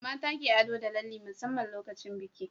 mata ke ado da lalle musamman lokacin biki